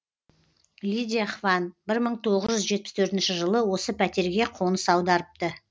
лидия хван бір мың тоғыз жүз жетпіс төртінші жылы осы пәтерге қоныс аударыпты